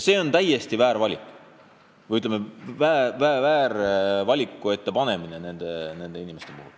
See on nende inimeste panemine täiesti ülekohtuse valiku ette.